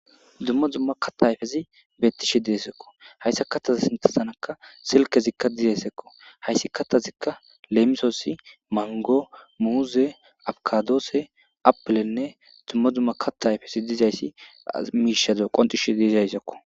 dummo dzumma katayfezi beettishe deesekko hayssa kattaza sintasanaka silkezikka dizesekko hayssi kattazikka leemisoosi mango muuze abkadoose apilenne dummo dzumma katayfesi dizayssi miishazo qonxishe diizayssekko